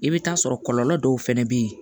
I bɛ taa sɔrɔ kɔlɔlɔ dɔw fɛnɛ bɛ yen